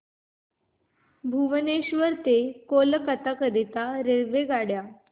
भुवनेश्वर पासून कोलकाता करीता रेल्वेगाड्या